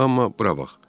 Amma bura bax.